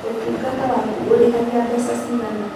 ũtungata waku ũrĩhagia mbeca cigana?